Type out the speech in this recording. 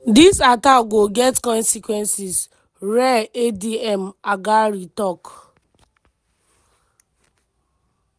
"dis attack go get consequences" rear adm haggari tok.